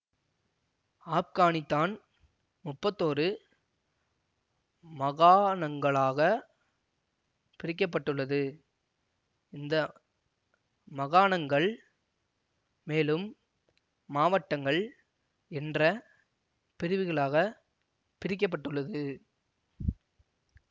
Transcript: ஆப்கானித்தான்முப்பத்தொரு மகாணங்களாகப் பிரிக்க பட்டுள்ளது இந்த மகாணங்கள் மேலும் மாவட்டங்கள் என்ற பிரிவுகளாக பிரிக்க பட்டுள்ளது